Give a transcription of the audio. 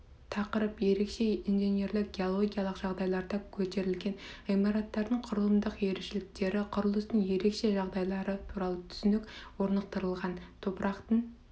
тақырып ерекше инженерлік геологиялық жағдайларда көтерілген ғимараттардың құрылымдық ерекшеліктері құрылыстың ерекше жағдайлары туралы түсінік орнықтырылған топырақтың